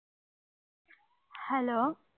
hello